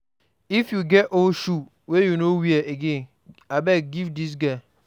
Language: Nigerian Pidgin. If you get old shoes wey you no wear again, abeg give dis girl.